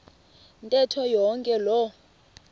ntetho yonke loo